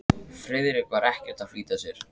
Friðrik var ekkert að flýta sér.